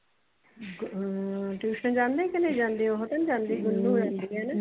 ਹਮ tuition ਜਾਂਦੇ ਕੇ ਨਹੀਂ ਜਾਂਦੇ ਉਹ ਤਾ ਨਹੀਂ ਜਾਂਦੇ ਗੁਨੂੰ ਹੋਣੀ